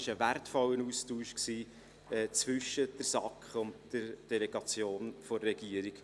Es war ein wertvoller Austausch zwischen der SAK und der Delegation der Regierung.